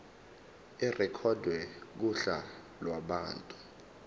irekhodwe kuhla lwabantu